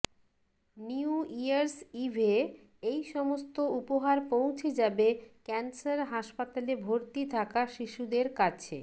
new year's ইভে এই সমস্ত উপহার পৌছে যাবে ক্যান্সার হাসপাতালে ভর্তি থাকা শিশুদের কাছে